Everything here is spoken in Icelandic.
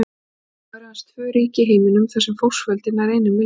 Í dag eru aðeins tvö ríki í heiminum þar sem fólksfjöldi nær einum milljarði.